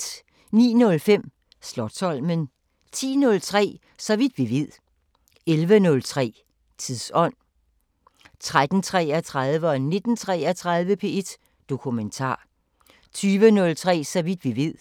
09:05: Slotsholmen 10:03: Så vidt vi ved 11:03: Tidsånd 13:33: P1 Dokumentar 19:33: P1 Dokumentar 20:03: Så vidt vi ved